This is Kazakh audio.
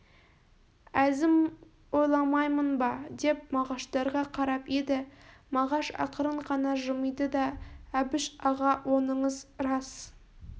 әзім ойламаймын ба деп мағаштарға қарап еді мағаш ақырын ғана жымиды да әбіш аға оныңыз рас